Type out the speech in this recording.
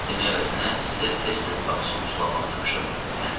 Dərs demək əvəzinə sizə tez-tez bağçamı sulamağı tapşırmırdım bəyə?